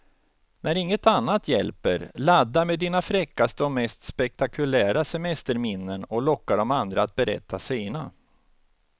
När inget annat hjälper, ladda med dina fräckaste och mest spektakulära semesterminnen och locka de andra att berätta sina.